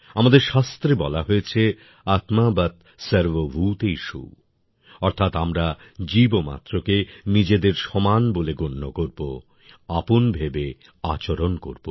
আমাদের শাস্ত্রে বলা হয়েছে আত্মবৎ সর্বভূতেষু অর্থাৎ আমরা জীবমাত্রকে নিজেদের সমান বলে গণ্য করব আপন ভেবে আচরণ করব